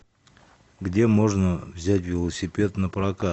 где можно взять велосипед напрокат